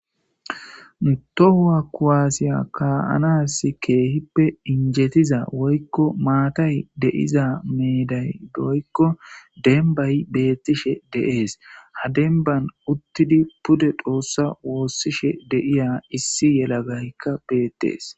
Tohuwa kuwaasiya kaa7anas keehippe injetiza woykko maatay deiza meeday woykko denbay bettishe de7es ha denban uttidi pude xoossa woossishe deiya issi yelagaykka beettees.